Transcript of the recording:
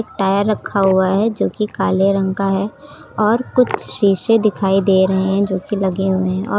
tyre रखा हुआ है जो कि काले रंग का है और कुछ शीशे दिखाई दे रहे हैं जो की लगे हुए हैं और--